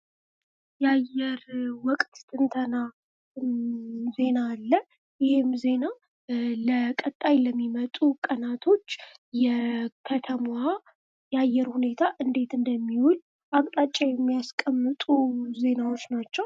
የአየር ወቅት ትንተና ዜና አለ። ይህም ዜና ለቀጣይ ለሚመጡ ቀናቶች የከተማዋ የአየር ሁኔታ እንዴት እንደሚውል አቅጣጫ የሚያስቀምጡ ዜናዎች ናቸው።